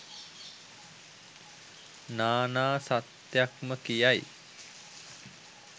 නානා සත්‍යයක් ම කියයි.